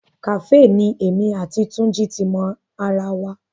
Kàfé ni èmi àti Túnjí ti mo ara wa